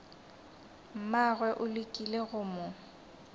mmagwe o lekile go mo